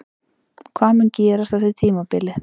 Hvað mun gerast eftir tímabilið?